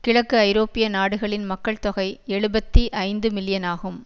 கிழக்கு ஐரோப்பிய நாடுகளின் மக்கள் தொகை எழுபத்தி ஐந்துமில்லியனாகும்